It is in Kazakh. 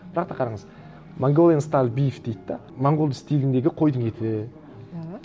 бірақ та қараңыз монголиан стайл биф дейді де монғолды стиліндегі қойдың еті да